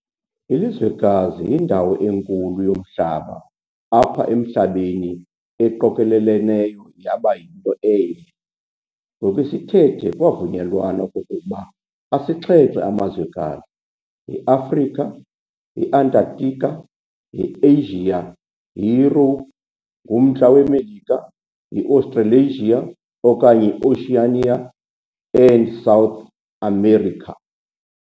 Ilizwekazi yindawo enkulu yomhlaba apha emhlabeni eqokoleleneyo yaba yinto enye. Ngokwesithethe kwavunyelwana okokuba asixhenxe amazwekazi- yi-Africa, yi-Antarctica, yi-Asia, yiYurophu, Ngumntla Melika, yi-Australasia okanye yi-Oceania, and South America.